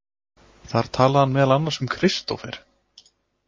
Þar talaði hann meðal annars um Kristófer.